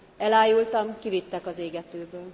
Elájultam, kivittek az égetőből.